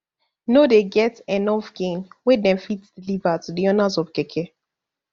no dey get enof gain wey dem fit deliver to di owners of keke